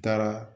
N taara